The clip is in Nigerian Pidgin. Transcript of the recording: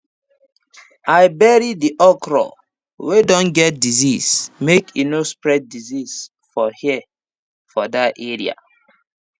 i bury the okra wey don get disease make e no spread disease for air for that area